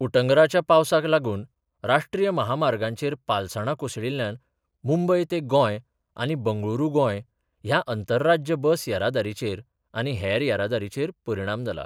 उटंगराच्या पावसाक लागून राष्ट्रीय महामार्गांचेर पालसाणां कोसळिल्ल्यान मुंबय तें गोंय आनी बंगळुरू गोंय ह्या अंतरराज्य बस येरादारीचेर आनी हेर येरादारीचेर परिणाम जाला.